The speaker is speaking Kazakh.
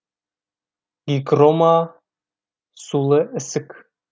гигрома сулы ісік